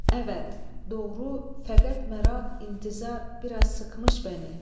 Əvət, doğru, fəqət məraq, intizar biraz sıxmış məni.